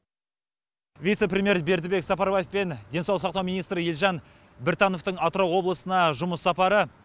вице премьер бердібек сапарбаев пен денсаулық сақтау министрі елжан біртановтың атырау облысына жұмыс сапары